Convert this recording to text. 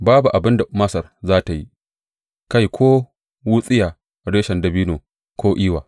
Babu abin da Masar za tă yi, kai ko wutsiya, reshen dabino ko iwa.